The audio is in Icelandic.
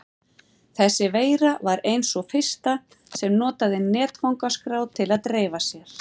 Þessi veira var ein sú fyrsta sem notaði netfangaskrá til að dreifa sér.